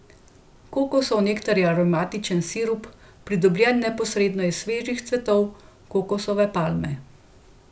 Kokosov nektar je aromatičen sirup, pridobljen neposredno iz svežih cvetov kokosove palme.